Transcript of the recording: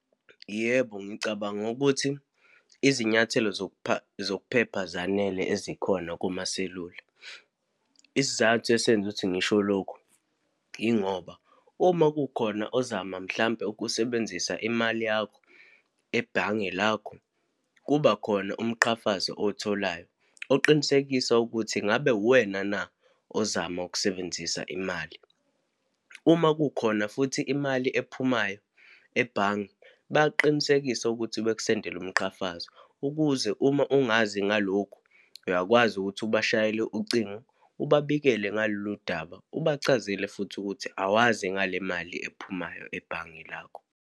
Yebo, ngicabanga ukuthi izinyathelo zokupha, zokuphepha zanele ezikhona kumaselula. Isizathu esenza ukuthi ngisho lokho, yingoba uma kukhona ozama, mhlampe ukusebenzisa imali yakho ebhange lakho, kubakhona umqhafazo owutholayo oqinisekisa ukuthi ngabe uwena na ozama ukusebenzisa imali. Uma kukhona futhi imali ephumayo ebhange, bayaqinisekisa ukuthi bekusendele umqhafazo ukuze uma ungazi ngalokhu, uyakwazi ukuthi ubashayele ucingo, ubabikele ngalolu daba, ubachazele futhi ukuthi awazi ngale mali ephumayo ebhange lakho.